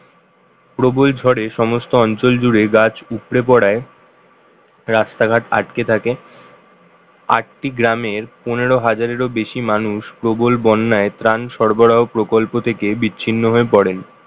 প্রবল ঝরে সমস্ত অঞ্চল জুড়ে গাছ উপড়ে পড়ায় রাস্তাঘাট আটকে থাকে আটটি গ্রামের পনেরো হাজারেরও বেশি মানুষ প্রবল বন্যায় প্রাণ সরবরাহ প্রকল্প থেকে বিচ্ছিন্ন হয়ে পড়েন